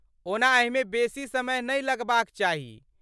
ओना एहिमे बेसी समय नहि लगबाक चाही।